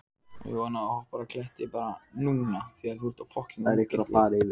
Þekkti hana og verk hennar til hlítar.